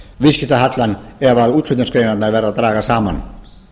viðskiptahallann ef útflutningsgreinarnar verða að draga saman